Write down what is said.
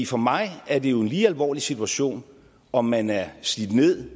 for mig er det jo en lige alvorlig situation om man er slidt ned